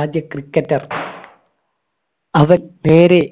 ആദ്യ cricketer അവൻ നേരെ